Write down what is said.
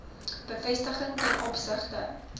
bevestiging ten opsigte